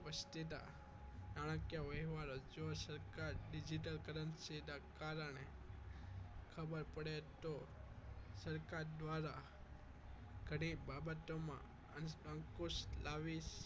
વસ્તીના ચાણક્ય વ્યવહાર હજુ સરકાર digital currency ના કારણે ખબર પડે તો સરકાર દ્વારા ઘણી બાબતોમાં અંકુશ લાવી